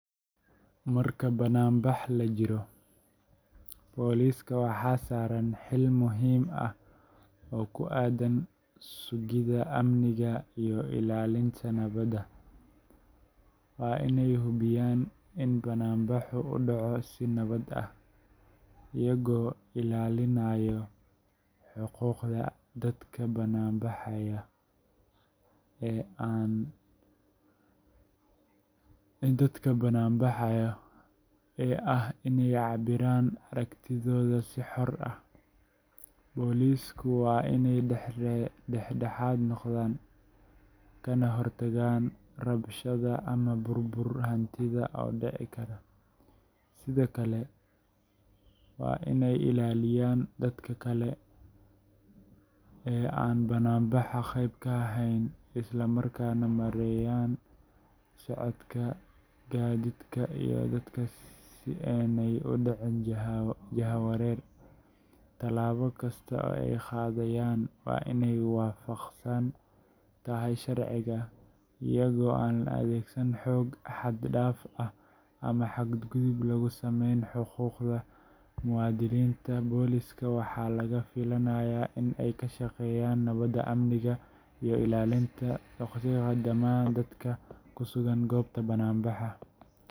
Marka bannaanbax la jiro, booliska waxaa saaran xil muhiim ah oo ku aaddan sugidda amniga iyo ilaalinta nabadda. Waa inay hubiyaan in bannaanbaxu u dhaco si nabad ah, iyaga oo ilaalinaya xuquuqda dadka bannaanbaxaya ee ah inay cabbiraan aragtidooda si xor ah. Boolisku waa inay dhex-dhexaad noqdaan, kana hortagaan rabshado ama burbur hantiyeed oo dhici kara. Sidoo kale, waa inay ilaaliyaan dadka kale ee aan bannaanbaxa qayb ka ahayn, isla markaana maareeyaan socodka gaadiidka iyo dadka si aanay u dhicin jahawareer. Tallaabo kasta oo ay qaadayaan waa in ay waafaqsan tahay sharciga, iyadoo aan la adeegsan xoog xad-dhaaf ah ama xadgudub lagu sameynin xuquuqda muwaadiniinta. Booliska waxaa laga filayaa in ay ka shaqeeyaan nabadda, amniga, iyo ilaalinta xuquuqda dhammaan dadka ku sugan goobta bannaanbaxa.